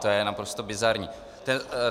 To je naprosto bizarní.